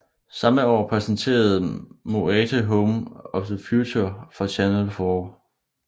Samme år præsenterede Moate Home of the Future for Channel 4